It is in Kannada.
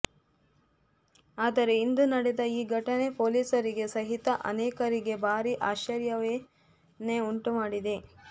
ಆದರೆ ಇಂದು ನಡೆದ ಈ ಘಟನೆ ಪೊಲೀಸರಿಗೆ ಸಹಿತ ಅನೇಕರಿಗೆ ಭಾರೀ ಆಶ್ಚರ್ಯವನ್ನೇ ಉಂಟು ಮಾಡಿದೆ